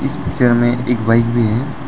इस पिक्चर में एक बाइक भी है।